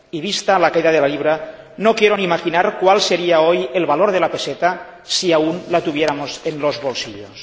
Vista la caída de la libra, no quiero ni imaginar cuál sería hoy el valor de la peseta si aún la tuviéramos en los bolsillos.